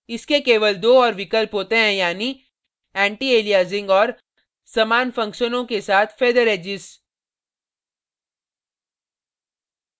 इसके केवल दो और विकल्प होते हैं यानी antialiasing और समान functions के साथ feather edges